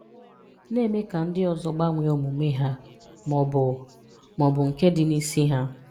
Na-eme ka ndị ọzọ gbanwee omume ha ma ọ bụ ma ọ bụ nke dị n'isi ha.